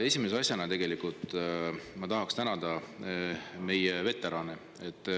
Esimese asjana tegelikult ma tahaksin tänada meie veterane.